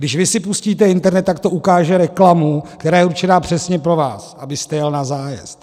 Když vy si pustíte internet, tak to ukáže reklamu, která je určena přesně pro vás, abyste jel na zájezd.